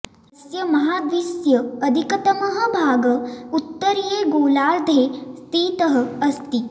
अस्य महाद्वीस्य अधिकतमः भागः उत्तरीये गोलार्धे स्थितः अस्ति